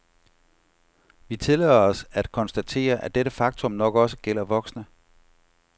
Vi tillader os at konstatere, at dette faktum nok også gælder voksne.